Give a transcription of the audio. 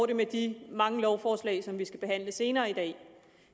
det med de mange lovforslag som vi skal behandle senere i dag